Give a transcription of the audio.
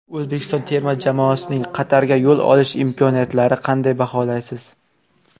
O‘zbekiston terma jamoasining Qatarga yo‘l olish imkoniyatlarini qanday baholaysiz.